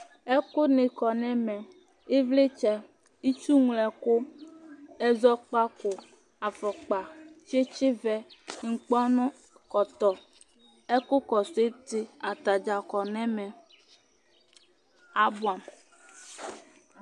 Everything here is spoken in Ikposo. ɛkò ni kɔ n'ɛmɛ ivlitsɛ itsu ŋlo ɛkò ɛzɔkpako afɔkpa tsitsi vɛ inkpɔnu ɛkɔtɔ ɛkò kɔsu iti atadza kɔ n'ɛmɛ aboɛ amo